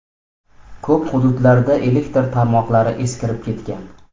Ko‘p hududlarda elektr tarmoqlari eskirib ketgan.